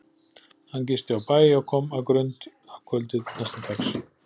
Hann gisti á bæ og kom að Grund að kvöldi næsta dags.